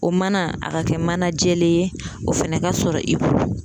O mana a ka kɛ mana jɛlen ye o fana ka sɔrɔ i bolo